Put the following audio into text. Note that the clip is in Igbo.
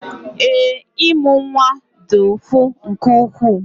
Ee, ịmụ nwa dị ụfụ nke ukwuu